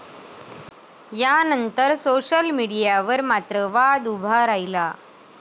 यानंतर सोशल मीडियावर मात्र वाद उभा राहिला.